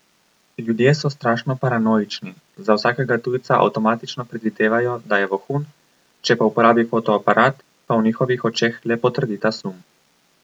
Ljudje so strašno paranoični, za vsakega tujca avtomatično predvidevajo, da je vohun, če pa uporabi fotoaparat, pa v njihovih očeh le potrdi ta sum.